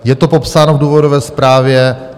Je to popsáno v důvodové zprávě.